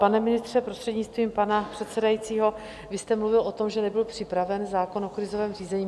Pane ministře, prostřednictvím pana předsedajícího, vy jste mluvil o tom, že nebyl připraven zákon o krizovém řízení.